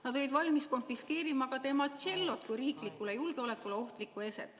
Nad olid valmis konfiskeerima tema tšello kui riigi julgeolekule ohtliku eseme.